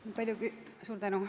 Suur tänu!